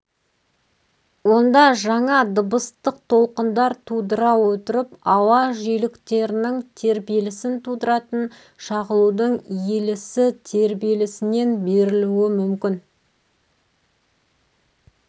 онда жаңа дыбыстық толқындар тудыра отырып ауа жиіліктерінің тербелісін тудыратын шағылудың иілісі тербілісінен берілуі мүмкін